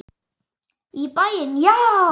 Í bæinn, já!